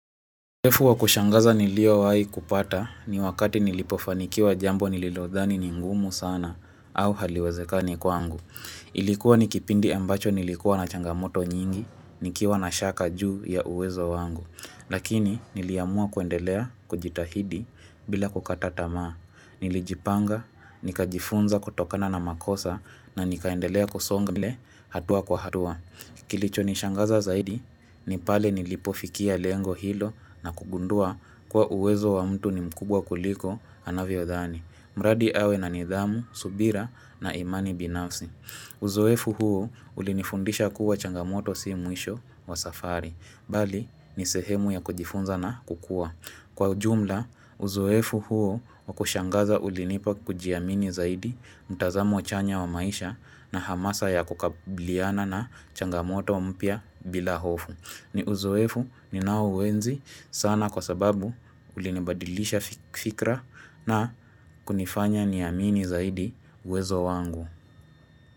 Sefu wa kushangaza nilio wai kupata ni wakati nilipofanikiwa jambo nililodhani ni ngumu sana au haliwezekani kwangu. Ilikuwa ni kipindi ambacho nilikuwa na changamoto nyingi nikiwa na shaka juu ya uwezo wangu. Lakini niliamua kuendelea kujitahidi bila kukata tamaa. Nilijipanga, nikajifunza kutokana na makosa na nikaendelea kusonga mbele hatua kwa hatua. Kilicho nishangaza zaidi, nipale nilipofikia lengo hilo na kugundua kuwa uwezo wa mtu ni mkubwa kuliko anavyodhani. Mradi awe na nidhamu, subira na imani binafsi. Uzoefu huu ulinifundisha kuwa changamoto si mwisho wa safari. Bali, ni sehemu ya kujifunza na kukua. Kwa ujumla, uzoefu huo wa kushangaza ulinipa kujiamini zaidi, mtazamo chanya wa maisha na hamasa ya kukabiliana na changamoto mpya bila hofu. Ni uzoefu ninao uenzi sana kwa sababu ulinibadilisha fikra na kunifanya niamini zaidi uwezo wangu.